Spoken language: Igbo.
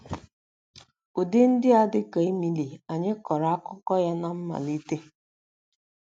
Ụdị ndị a dị ka Emily anyị kọrọ akụkọ ya ná mmalite.